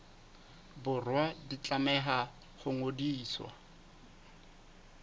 borwa di tlameha ho ngodiswa